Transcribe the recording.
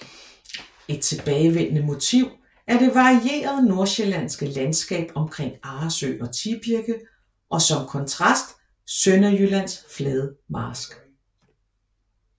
Et tilbagevendende motiv er det varierede Nordsjællandske landskab omkring Arresø og Tibirke og som kontrast Sønderjyllands flade marsk